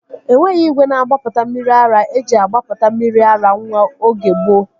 Enweghị igwe na-agbapụta mmiri ara eji agbapụta mmiri ara nwa oge gboo